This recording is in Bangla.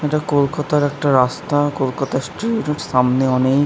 ইটা কলকাতার একটা রাস্তা কলকাতার স্ট্রিট সামনে --